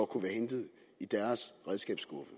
kunne være hentet i deres redskabsskuffe